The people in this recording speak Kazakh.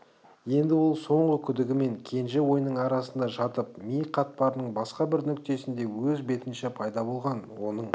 енді ол соңғы күдігі мен кенже ойының арасында жатып ми қатпарының басқа бір нүктесінде өз бетінше пайда болған оның